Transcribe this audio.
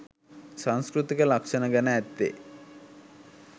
සංස්කෘතික ලක්‍ෂණ ගැන ඇත්තේ